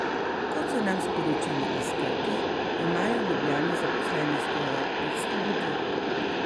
Kot so nam sporočili iz Krke, imajo v Ljubljani zaposlenih skoraj petsto ljudi.